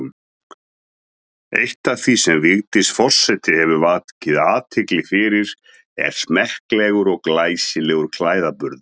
Eitt af því sem Vigdís forseti hefur vakið athygli fyrir er smekklegur og glæsilegur klæðaburður.